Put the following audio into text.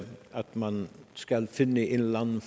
man skal finde en eller anden